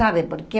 Sabe por quê?